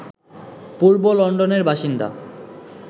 পূর্ব লন্ডনের বাসিন্দা